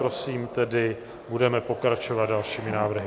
Prosím tedy, budeme pokračovat dalšími návrhy.